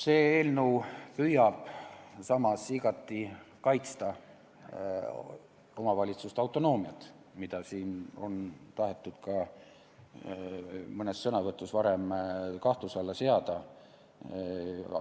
See eelnõu püüab samas igati kaitsta omavalitsuse autonoomiat, mida siin on varem tahetud mõnes sõnavõtus kahtluse alla seada.